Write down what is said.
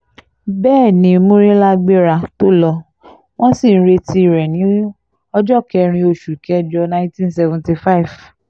bẹ́ẹ̀ ni murila gbéra tó lò wọ́n sì ń retí rẹ̀ ní ọjọ́ kẹrin oṣù kẹjọ nineteen seventy five